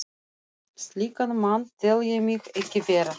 Slíkan mann tel ég mig ekki vera.